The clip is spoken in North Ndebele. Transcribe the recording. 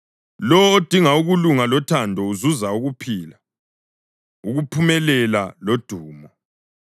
Lowo odinga ukulunga lothando uzuza ukuphila, ukuphumelela lodumo.